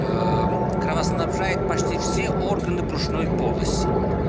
кровоснабжает почти все органы брюшной полости